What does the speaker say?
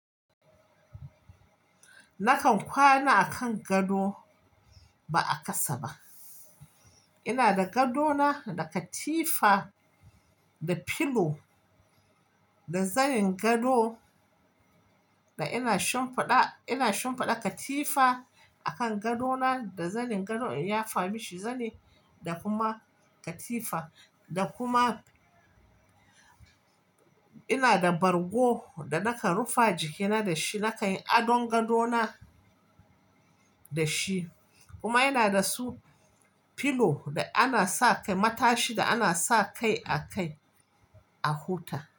Nakan kwana a kan gado ba a ƙasa ba. Ina da gadona, da katifa, da pillow, da zanin gado da ina shimfiɗa katifa a kan gadona da zanin gado in ya fami shi zani da kuma katifa. Da kuma ina da bargo da nakan rufa jikina da shi, nakan yi adon gadona da shi. Kuma yana da su pillow da ana sa kai, matashi da ana sa kai a kai a huta.